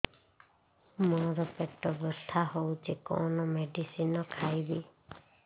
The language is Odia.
ମୋର ପେଟ ବ୍ୟଥା ହଉଚି କଣ ମେଡିସିନ ଖାଇବି